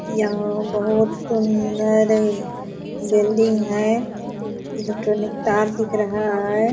यहाँ बहुत सुंदर बिल्डिंग है। इलेक्ट्रॉनिक तार दिख रहा है।